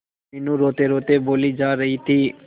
मीनू रोतेरोते बोली जा रही थी